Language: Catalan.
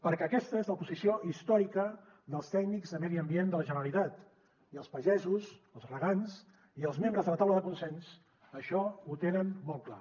perquè aquesta és la posició històrica dels tècnics de medi ambient de la generalitat i els pagesos els regants i els membres de la taula de consens això ho tenen molt clar